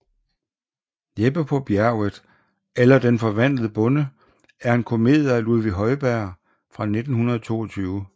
Jeppe på Bjerget eller Den forvandlede Bonde er en komedie af Ludvig Holberg fra 1722